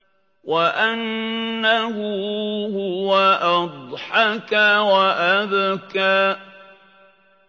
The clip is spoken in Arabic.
وَأَنَّهُ هُوَ أَضْحَكَ وَأَبْكَىٰ